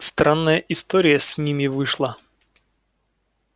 странная история с ними вышла